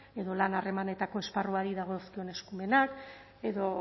edo lan harremanetako esparruari dagozkion eskumenak edo